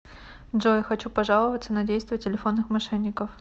джой хочу пожаловаться на действия телефонных мошенников